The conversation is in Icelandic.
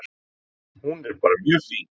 Hún er bara mjög fín.